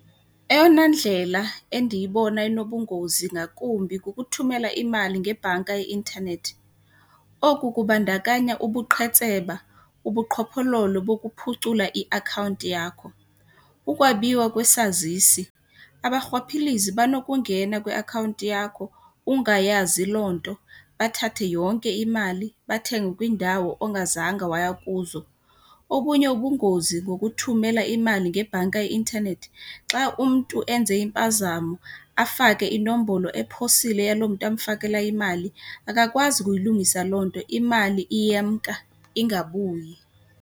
Eyona ndlela endiyibona inobungozi ngakumbi kukuthumela imali ngebhanka yeinthanethi. Oku kubandakanya ubuqhetseba, ubuqhophololo bokuphucula iakhawunti yakho, ukwabiwa kwesazisi. Abarhwaphilizi banokungena kwiakhawunti yakho ungayazi loo nto, bathathe yonke imali bathenge kwiindawo ongazange waya kuzo. Okunye ubungozi ngokuthumela imali ngebhanki y inthanethi, xa umntu enze impazamo afake inombolo ephosile yaloo mntu amfakela imali akakwazi ukuyilungisa loo nto, imali iyemka ingabuyi.